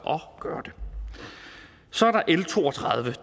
at gøre det så er der l to og tredive